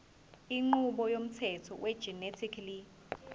inqubo yomthetho wegenetically